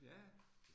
Ja